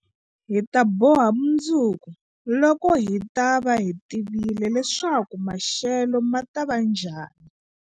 Hi ta boha mundzuku, loko hi ta va hi tivile leswaku maxelo ma ta va njhani.